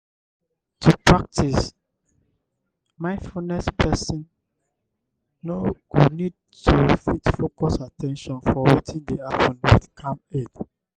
to pratice mindfulness person go need to fit focus at ten tion for wetin dey happen with calm head